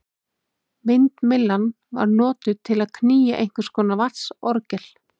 Vindmyllan var notuð til að knýja einhvers konar vatnsorgel.